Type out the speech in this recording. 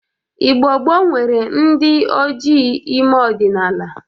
Igbo gboo nwere ndị ojii ime ọdịnaala.